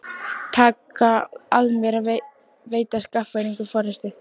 Taka að mér að veita Skagfirðingum forystu.